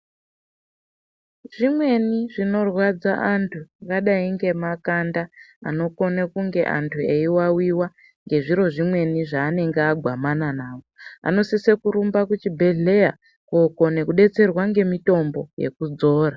Zvimweni zvinorwadza antu kudai ngemakanda anokona kungane antu eyi wawiwa nezviro zvimweni zvanenge agwamana nazvo anosise kurumba kuende kuchibhedhlera kunokone kudetserwa ngemutombo wekuzora.